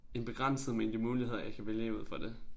En begrænset mængde muligheder jeg kan vælge ud for det